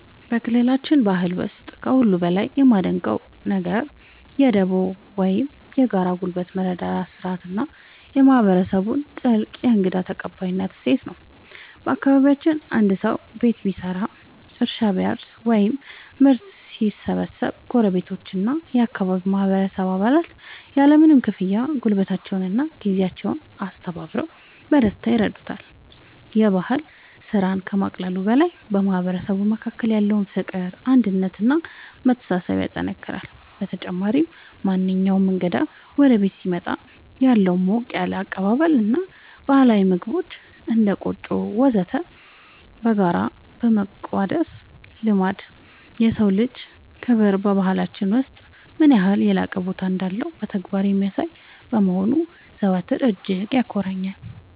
በክልላችን ባህል ውስጥ ከሁሉ በላይ የማደንቀው ነገር የ"ዱቦ" (Dubo) ወይም የጋራ ጉልበት መረዳዳት ሥርዓት እና የማህበረሰቡን ጥልቅ የእንግዳ ተቀባይነት እሴት ነው። በአካባቢያችን አንድ ሰው ቤት ሲሰራ፣ እርሻ ሲያርስ ወይም ምርት ሲሰበስብ ጎረቤቶችና የአካባቢው ማህበረሰብ አባላት ያለምንም ክፍያ ጉልበታቸውንና ጊዜያቸውን አስተባብረው በደስታ ይረዱታል። ይህ ባህል ስራን ከማቃለሉ በላይ በማህበረሰቡ መካከል ያለውን ፍቅር፣ አንድነት እና መተሳሰብ ያጠናክራል። በተጨማሪም፣ ማንኛውም እንግዳ ወደ ቤት ሲመጣ ያለው ሞቅ ያለ አቀባበል እና ባህላዊ ምግቦችን (እንደ ቆጮ እና ወተት) በጋራ የመቋደስ ልማድ፣ የሰው ልጅ ክብር በባህላችን ውስጥ ምን ያህል የላቀ ቦታ እንዳለው በተግባር የሚያሳይ በመሆኑ ዘወትር እጅግ ያኮራኛል።